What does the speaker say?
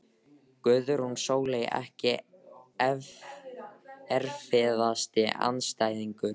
Guðrún Sóley Ekki erfiðasti andstæðingur?